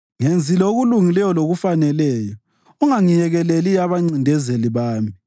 Ngenzile okulungileyo lokufaneleyo; ungangiyekeleli abancindezeli bami.